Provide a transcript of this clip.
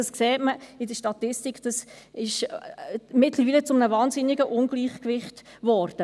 Dies sieht man in der Statistik, das ist mittlerweile zu einem wahnsinnigen Ungleichgewicht geworden.